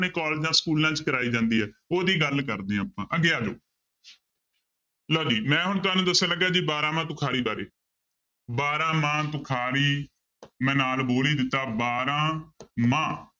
ਕਾਲਜਾਂ ਸਕੂਲਾਂ 'ਚ ਕਰਵਾਈ ਜਾਂਦੀ ਹੈ ਉਹਦੀ ਗੱਲ ਕਰਦੇ ਹਾਂ ਆਪਾਂ ਅੱਗੇ ਆ ਜਾਓ ਲਓ ਜੀ ਮੈਂ ਹੁਣ ਤੁਹਾਨੂੰ ਦੱਸਣ ਲੱਗਿਆ ਜੀ ਬਾਰਾਂਮਾਂਹ ਤੁਖਾਰੀ ਬਾਰੇ ਬਾਰਾਂਮਾਂਹ ਤੁਖਾਰੀ ਮੈਂ ਨਾਲ ਬੋਲ ਹੀ ਦਿੱਤਾ ਬਾਰਾਂ ਮਾਂਹ